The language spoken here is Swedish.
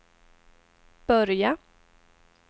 börja